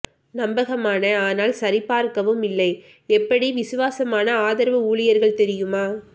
நம்பகமான ஆனால் சரிபார்க்கவும் இல்லை எப்படி விசுவாசமான ஆதரவு ஊழியர்கள் தெரியுமா